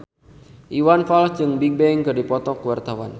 Iwan Fals jeung Bigbang keur dipoto ku wartawan